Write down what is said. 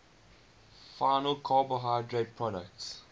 final carbohydrate products